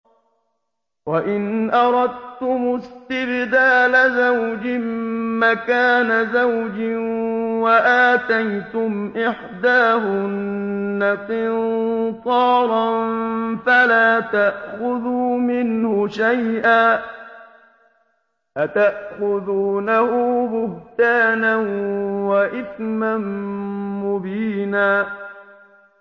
وَإِنْ أَرَدتُّمُ اسْتِبْدَالَ زَوْجٍ مَّكَانَ زَوْجٍ وَآتَيْتُمْ إِحْدَاهُنَّ قِنطَارًا فَلَا تَأْخُذُوا مِنْهُ شَيْئًا ۚ أَتَأْخُذُونَهُ بُهْتَانًا وَإِثْمًا مُّبِينًا